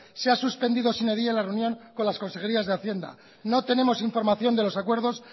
se ha suspendido sine die la reunión con las consejerías de hacienda no tenemos información de los acuerdos